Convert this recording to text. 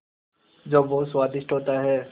जो बहुत स्वादिष्ट होता है